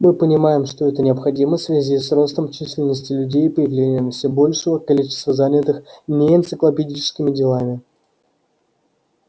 мы понимаем что это необходимо в связи с ростом численности людей и появлением все большего количества занятых не энциклопедическими делами